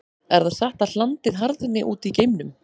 Er það satt að hlandið harðni út í geimnum?